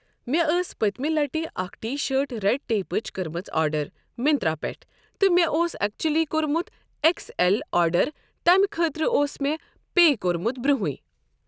مےٚ ٲس پٔتمہِ لَٹہِ اَکھ ٹیٖشٲٹ رٮ۪ڈ ٹیپٕچ کٔرمٕژ آرڈَر مِنترٛا پٮ۪ٹھ تہٕ مےٚ اوس اٮ۪کچُلی کوٚرمُت اٮ۪کٕس اٮ۪ل آرڈَر تَمہِ خٲطرٕ اوس مےٚ پے کوٚرمُت برونٛہٕٕے۔